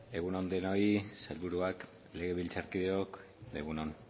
egun on denoi sailburuak legebiltzarkideok egun on